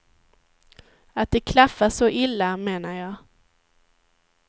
Att det klaffar så illa, menar jag.